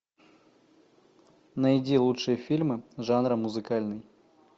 найди лучшие фильмы жанра музыкальный